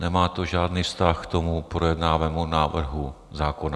Nemá to žádný vztah k tomu projednávanému návrhu zákona.